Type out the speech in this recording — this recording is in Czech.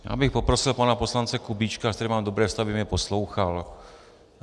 Já bych poprosil pana poslance Kubíčka, se kterým mám dobré vztahy, aby mě poslouchal.